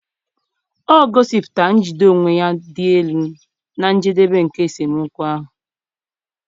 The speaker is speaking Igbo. o gosipụtara njide onwe ya dị elu na njedebe nke esemokwu ahụ.